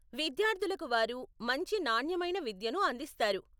విద్యార్థులకు వారు మంచి నాణ్యమైన విద్యను అందిస్తారు.